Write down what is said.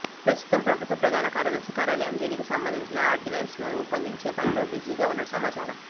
ప్రస్తుతం ప్రభుత్వ ప్రధాన కార్యదర్శి కార్యాలయం దీనికి సంబంధించిన ఆర్డినెన్స్ ను రూపొందించే పనిలో బిజీగా ఉన్నట్లు సమాచారం